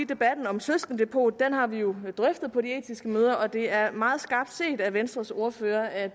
debatten om søskendedepot at det har vi jo drøftet på de etiske møder og det er meget skarpt set af venstres ordfører at